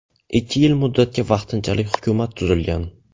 Ikki yil muddatga vaqtinchalik hukumat tuzilgan.